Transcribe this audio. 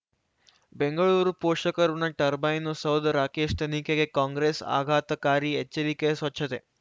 ಬೆಂಗಳೂರು ಪೋಷಕರಋಣ ಟರ್ಬೈನು ಸೌಧ ರಾಕೇಶ್ ತನಿಖೆಗೆ ಕಾಂಗ್ರೆಸ್ ಆಘಾತಕಾರಿ ಎಚ್ಚರಿಕೆ ಸ್ವಚ್ಛತೆ